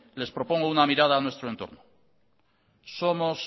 les propongo una mirada a nuestro entorno somos